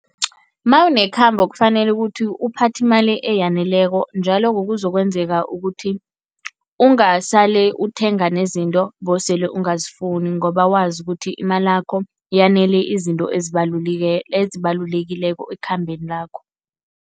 Mawunekhambo kufanele ukuthi uphathe imali eyaneleko njalo kuzokwenzeka ukuthi ungasale uthenga nezinto bewusele ungazifuni ngoba wazi ukuthi imalakho yanele izinto ezibalulekileko ekhambeni lakho.